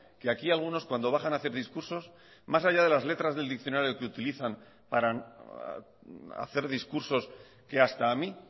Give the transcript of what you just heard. que aquí algunos cuando bajan a hacer discursos más allá de las letras del diccionario que utilizan para hacer discursos que hasta a mí